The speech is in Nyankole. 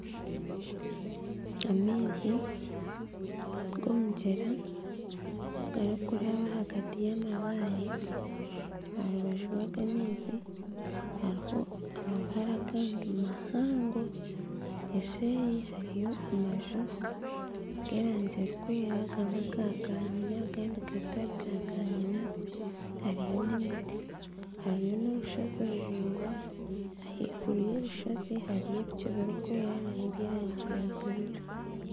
Amaizi g'omugyera garikuraba ahagati y'amabaare. Aha rubaju rw'ago amaizi hatiho amabaare agandi mahango. Eseeri hariyo amaju g'erangi erikwera gamwe ga kanyina agandi gatari ga kanyina. Hariyo n'emiti, hariyo n'orushozi ruraingwa. Ahaiguru y'orushozi hariyo ebicu ebirikwera n'eby'erangi ya bururu.